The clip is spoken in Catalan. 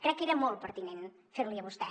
crec que era molt pertinent fer li a vostè